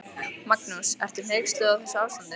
Magnús: Ertu hneyksluð á þessu ástandi?